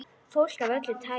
Fólk af öllu tagi.